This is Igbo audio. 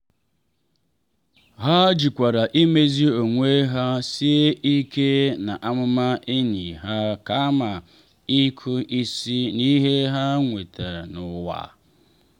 ha jikwara imezi onwe ha sie ike n’amụma enyi ha kama ịkụ isi n’ihe ha nwetara n’ụwa.